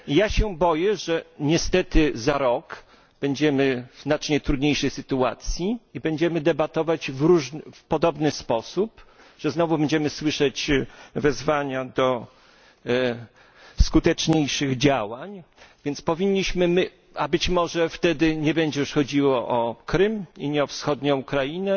Ja się boję, że niestety za rok będziemy w znacznie trudniejszej sytuacji i będziemy debatować w podobny sposób, znowu będziemy słyszeć wezwania do skuteczniejszych działań a być może wtedy już nie będzie chodziło o Krym i nie o wschodnią Ukrainę,